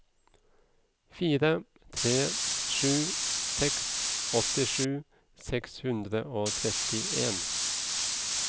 fire tre sju seks åttisju seks hundre og trettien